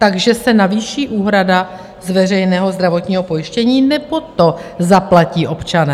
Takže se navýší úhrada z veřejného zdravotního pojištění, nebo to zaplatí občané?